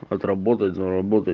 отработать заработать